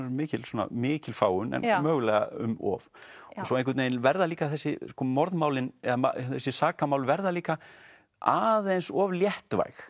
mikil mikil fágun en mögulega um of svo verða líka þessi morðmálin eða þessi sakamál verða líka aðeins of léttvæg